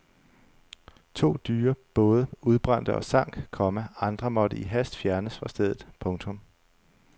To dyre både udbrændte og sank, komma andre måtte i hast fjernes fra stedet. punktum